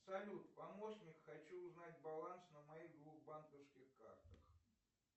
салют помощник хочу узнать баланс на моих двух банковских картах